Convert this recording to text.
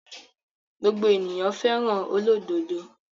Gbogbo ènìyàn fẹ́ràn olódodo.